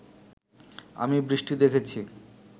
আমি বৃষ্টি দেখেছি